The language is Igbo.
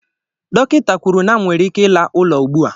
Dọkịta kwuru na m nwere ike ịla ụlọ ugbu a